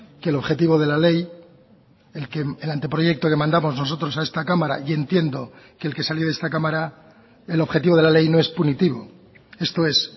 que el objetivo de la ley el anteproyecto que mandamos nosotros a esta cámara y entiendo que el que salió de esta cámara el objetivo de la ley no es punitivo esto es